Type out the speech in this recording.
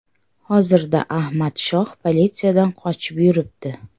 Hozirda Ahmad Shoh politsiyadan qochib yuribdi.